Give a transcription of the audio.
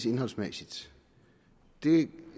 indholdsmæssige